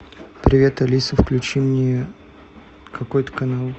привет алиса включи мне какой то канал